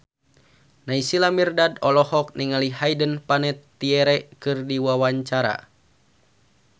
Naysila Mirdad olohok ningali Hayden Panettiere keur diwawancara